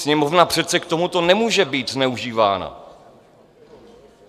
Sněmovna přece k tomuto nemůže být zneužívána.